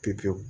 Pewu pewu